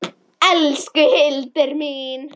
Elsku Hildur mín.